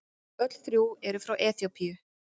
Öll þrjú eru frá Eþíópíu.